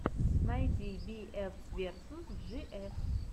найди би эф версус джи эф